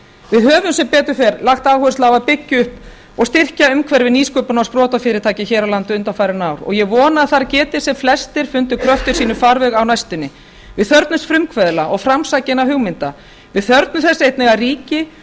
við höfum sem betur fer lagt áherslu á að byggja upp og styrkja umhverfi nýsköpunar og sprotafyrirtækja hér á landi undanfarin ár og ég vona að þar geti sem flestir fundið kröftum sínum farveg á næstunni við þörfnumst frumkvöðla og framsækinna hugmynda við þörfnumst þess einnig að ríki